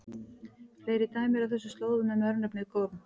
Fleiri dæmi eru á þessum slóðum um örnefnið Gorm.